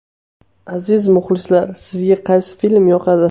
Aziz muxlislar, sizga qaysi film yoqadi?